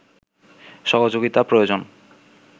সহযোগিতা প্রয়োজন